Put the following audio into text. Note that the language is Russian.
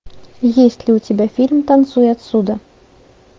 есть ли у тебя фильм танцуй отсюда